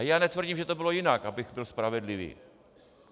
A já netvrdím, že to bylo jinak, abych byl spravedlivý.